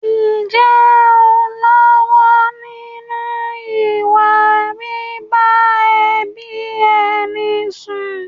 Ǹjẹ́ ò ń lọ́wọ́ nínú ìwà bíbá ẹbí ẹni sùn?